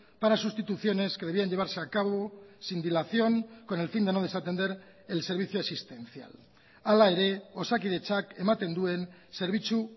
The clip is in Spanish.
para sustituciones que debían llevarse a cabo sin dilación con el fin de no desatender el servicio existencial hala ere osakidetzak ematen duen zerbitzu